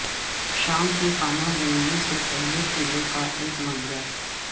شام کی خانہ جنگی سے پہلے قلعے کا ایک منظر